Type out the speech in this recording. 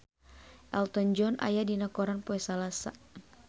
Elton John aya dina koran poe Salasa